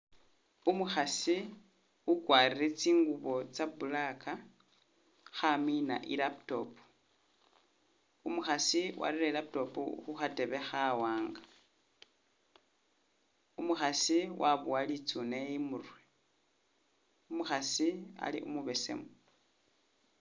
Umukhasi ukwalire tsingubo tsya black khamina i'laptop, umukhaasi warere i'laptop khu khatebe khawanga, umukhasi wabowa litsune imurwe, umukhasi ali umubesemu